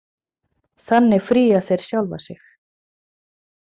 Þannig fría þeir sjálfa sig.